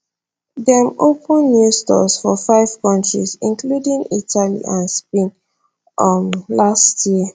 dem open new stores for five countries including italy and spain um last year